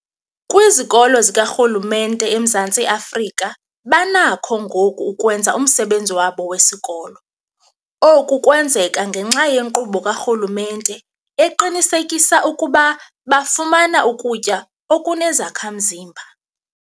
Kwizikolo zikarhulumente eMzantsi Afrika banakho ngoku ukwenza umsebenzi wabo wesikolo. Oku kwenzeka ngenxa yenkqubo karhulumente eqinisekisa ukuba bafumana ukutya okunezakha-mzimba.